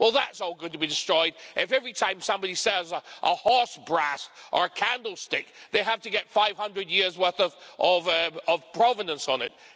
Well, that's all going to be destroyed if, every time somebody sells a horse brass or a candlestick, they have to get 500 years' worth of provenance on it.